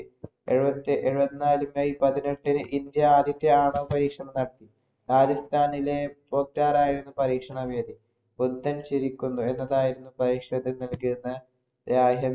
എഴുപത്തിഎഴുപത്തിനാല് may പതിനെട്ടിന് India ആദ്യത്തെ ആണവ പരീക്ഷണം നടത്തി. രാജസ്ഥാനിലെ പോക്റാൻ ആയിരുന്നു പരീക്ഷണ വേദി. ബുദ്ധന്‍ ചിരിക്കുന്നു എന്നതായിരുന്നു പരീക്ഷണത്തിനു നല്‍കിയിരുന്നത്.